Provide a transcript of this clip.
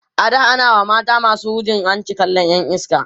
a da a na WA mata masu hujin hanci kallan Yan iska